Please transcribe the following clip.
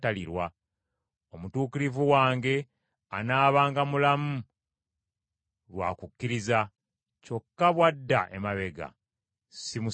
Omutuukirivu wange, anaabanga mulamu lwa kukkiriza, kyokka bw’adda emabega simusanyukira.